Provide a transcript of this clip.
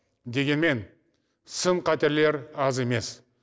дегенмен сын қатерлер аз емес